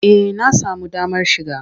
Eh na samu damar shiga.